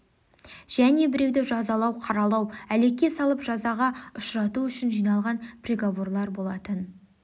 және біреуді жазалау қаралау әлекке салып жазаға ұшырату үшін жиналған приговорлар болатын